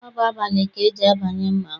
Ọ bụ abalị ka eji abanye mmanwụ.